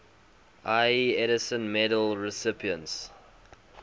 ieee edison medal recipients